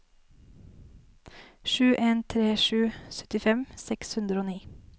sju en tre sju syttifem seks hundre og ni